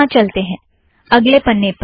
यहाँ चलते हैं - अगले पन्ने पर